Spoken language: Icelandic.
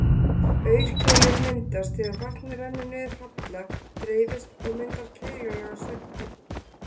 Aurkeilur myndast þegar vatn rennur niður halla, dreifist og myndar keilulaga svuntu.